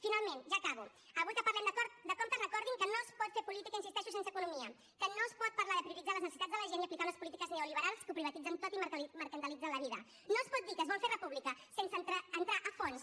finalment ja acabo avui que parlem de comptes recordin que no es pot fer política hi insisteixo sense economia que no es pot parlar de prioritzar les necessitats de la gent i aplicar unes polítiques neoliberals que ho privatitzen tot i mercantilitzen la vida no es pot dir que es vol fer república sense entrar a fons